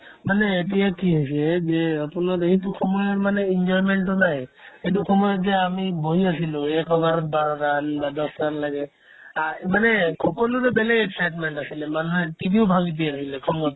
মানে এতিয়া কি হৈছে যে আপোনাৰ এইটো সময়ৰ মানে enjoyment তো নাই সেইটো সময়ত যে আমি বহি আছিলো এক over ত বাৰ run বা দহটা লৈকে আহ্ এই মানে সকলোৰে বেলেগ excitement আছিলে মানুহে TV ও ভাঙি দিয়ে লাগিলে খঙত